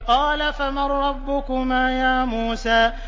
قَالَ فَمَن رَّبُّكُمَا يَا مُوسَىٰ